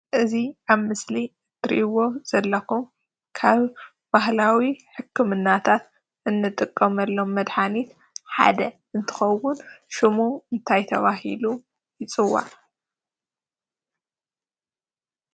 እዚ ኣብ ምስሊ እትርእዎ ዘለኩም ካብ ባህላዊ ሕክምናታት እንጥቀመሎም መድሓኒት ሓደ እንትኸውን ሽሙ እንታይ ተባሂሉ ይፅዋዕ?